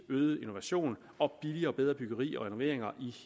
øget innovation og billigere og bedre byggeri og renoveringer